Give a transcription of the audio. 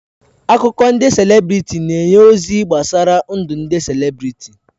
Akụkọ ndị selebrịtị na-enye ozi gbasara ndụ ndị selebrịtị.